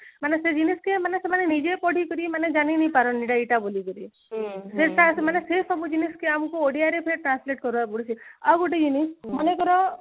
ମାନେ ସେ ଜିନିଷ କି ମାନେ ସେମାନେ ନିଜେ ପଢିକରି ମାନେ ଜାଣି ନେଇ ପାରନେ ଟେ ଏଇଟା ବୋଲି କିରି ସେ ସକାଶେ ମାନେ ସେସବୁ ଜିନିଷ କି ଆମକୁ ଓଡିଆରେ translate କରା ପଡିକିରି ଆଉ ଗୋଟେ ଜିନିଷ ମନେକର